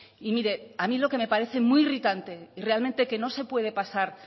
y mire a mí lo que me parece muy irritante y realmente que no se puede pasar